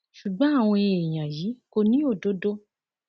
ṣùgbọn àwọn èèyàn yìí kò ní òdodo